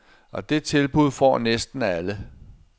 Og det tilbud får næsten alle.